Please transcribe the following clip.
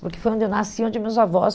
Porque foi onde eu nasci, onde meus avós...